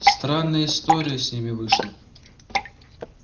странная история с ними вышла